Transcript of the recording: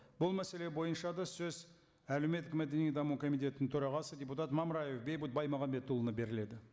бұл мәселе бойынша да сөз әлеуметтік мәдени даму комитетінің төрағасы депутат мамраев бейбіт баймағамбетұлына беріледі